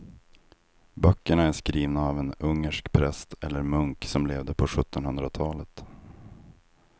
Böckerna är skrivna av en ungersk präst eller munk som levde på sjuttonhundratalet.